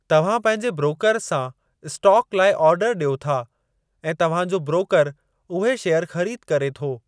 तव्हां पंहिंजे ब्रोकर सां स्टॉक लाइ ऑर्डर ॾियो था ऐं तव्हां जो ब्रोकर उहे शेयर ख़रीद करे थो।